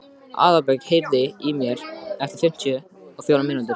Aðalbjörg, heyrðu í mér eftir fimmtíu og fjórar mínútur.